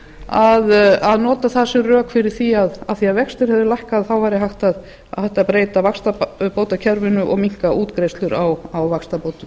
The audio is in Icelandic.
að nota það sem rök fyrir því af því að vextir hefðu lækkað þá væri hægt að breyta vaxtabótakerfinu og minnka útgreiðslur á vaxtabótum